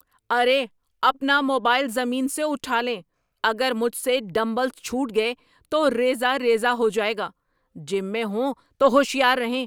ارے اپنا موبائل زمین سے اٹھا لیں، اگر مجھ سے ڈمبلز چھوٹ گئے تو ریزہ ریزہ ہو جائے گا، جم میں ہوں تو ہوشیار رہیں۔